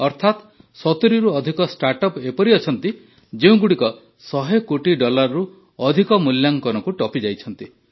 ଅର୍ଥାତ ୭୦ରୁ ଅଧିକ ଷ୍ଟାର୍ଟଅପ୍ ଏପରି ଅଛନ୍ତି ଯେଉଁଗୁଡ଼ିକ ୧୦୦ କୋଟି ଡଲାରରୁ ଅଧିକ ମୂଲ୍ୟାଙ୍କନକୁ ଟପିଯାଇଛନ୍ତି